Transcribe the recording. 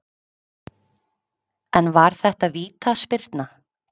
En var þetta vítaspyrna?